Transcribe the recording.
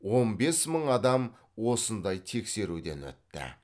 он бес мың адам осындай тексеруден өтті